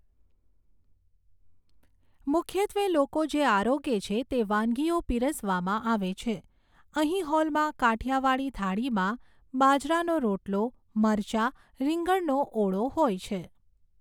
મુખ્યત્વે લોકો જે આરોગે છે તે વાનગીઓ પીરસવામાં આવે છે. અહીં હૉલમાં કાઠિયાવાડી થાળીમાં બાજરાનો રોટલો મરચાં રીંગણનો ઓળો હોય છે.